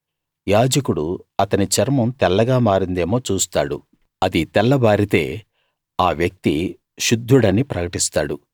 యాజకుడు అతని చర్మం తెల్లగా మారిందేమో చూస్తాడు అది తెల్లబారితే ఆ వ్యక్తి శుద్ధుడని ప్రకటిస్తాడు